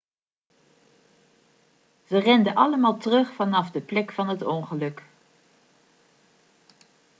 ze renden allemaal terug vanaf de plek van het ongeluk